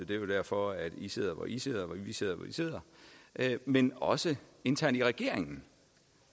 det er derfor at i sidder hvor i sidder og vi sidder hvor vi sidder men også internt i regeringen